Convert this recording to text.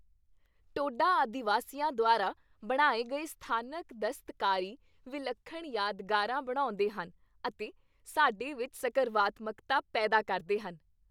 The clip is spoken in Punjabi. ਟੋਡਾ ਆਦਿਵਾਸੀਆਂ ਦੁਆਰਾ ਬਣਾਏ ਗਏ ਸਥਾਨਕ ਦਸਤਕਾਰੀ ਵਿਲੱਖਣ ਯਾਦਗਾਰਾਂ ਬਣਾਉਂਦੇ ਹਨ ਅਤੇ ਸਾਡੇ ਵਿੱਚ ਸਕਰਵਾਤਮਕਤਾ ਪੈਦਾ ਕਰਦੇ ਹਨ।